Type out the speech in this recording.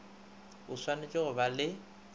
o swanetše go ba le